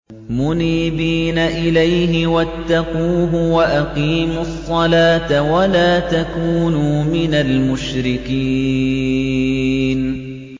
۞ مُنِيبِينَ إِلَيْهِ وَاتَّقُوهُ وَأَقِيمُوا الصَّلَاةَ وَلَا تَكُونُوا مِنَ الْمُشْرِكِينَ